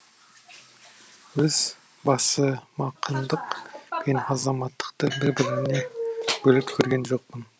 өз басымақындық пен азаматтықты бір бірінен бөліп көрген жоқпын